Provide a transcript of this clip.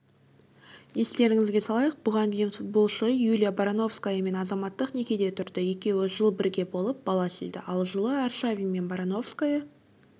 естеріңізге салайық бұған дейін футболшы юлия барановскаямен азаматтық некеде тұрды екеуі жыл бірге болып бала сүйді ал жылы аршавин мен барановская